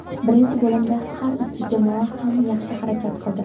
Birinchi bo‘limda har ikki jamoa ham yaxshi harakat qildi.